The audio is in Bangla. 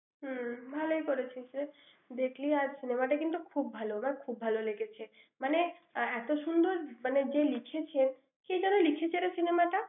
হম ভালই করেছিস রে। দেখলি আর cinema টা কিন্তু খুব ভাল। আমার খুব ভাল লেগেছে। মানে এত সুন্দর মানে যে লিখেছে, কে যেন লিখেছে রে cinema টা।